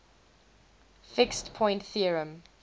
fixed point theorem